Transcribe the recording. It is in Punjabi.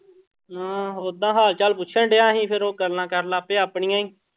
ਹਮ ਓਦਾਂ ਹਾਲ ਚਾਲ ਪੁੱਛਣ ਡਿਆ ਸੀ, ਫਿਰ ਉਹ ਗੱਲਾਂ ਕਰਨ ਲੱਗ ਪਏ ਆਪਣੀਆਂ ਹੀ।